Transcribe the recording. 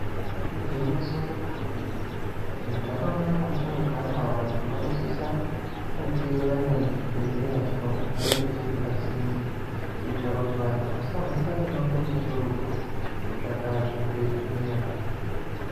Igwinyiso remene mene muntaraunta mwatinogara vantu vanosisa kunge vane chibhedhleya vhino chinenge chiri pasinde kuitira kuti vantu vasahamba mumango mukurutu kutsvaka zvibhedhleya.